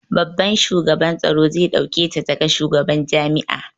Babban shugaban tsaro zai ɗauke ta ta ga shugaban jami'a